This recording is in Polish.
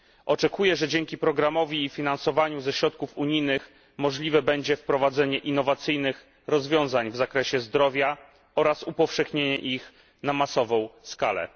Oczekuję, że dzięki programowi i finansowaniu ze środków unijnych możliwe będzie wprowadzenie innowacyjnych rozwiązań w zakresie zdrowia oraz upowszechnienie ich na masową skalę.